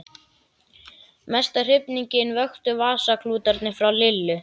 Mesta hrifningu vöktu vasaklútarnir frá Lillu.